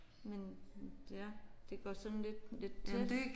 Men ja det går sådan lidt lidt tæt